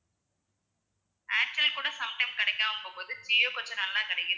Airtel கூட sometime கிடைக்காம போகும் போது ஜியோ கொஞ்சம் நல்லா கிடைக்குது ஓ